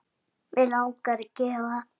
Bréf frá Lenu.